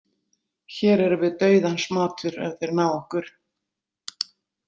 Hér erum við dauðans matur ef þeir ná okkur.